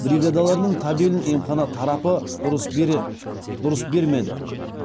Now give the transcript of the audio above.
бригадаларының табелін емхана тарапы дұрыс бермеді